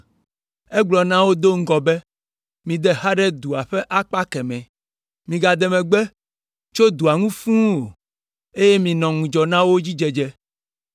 egblɔ na wo do ŋgɔ be, “Mide xa ɖe dua ƒe akpa kemɛ, migade megbe tso dua ŋu fũu o, eye minɔ ŋudzɔ na wo dzi dzedze.”